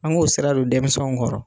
An k'o sira don dɛmisɛnw kɔrɔ.